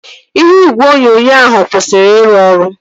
Ihe igwe onyonyo ahụ kwụsịrị iru ọrụ